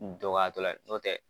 U dɔgɔya tɔ la ye ,n'o tɛ